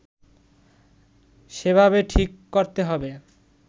সেভাবে ঠিক করতে হবে